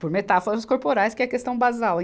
Por metáforas corporais, que é questão basal.